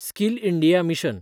skill India mission